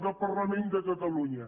del parlament de catalunya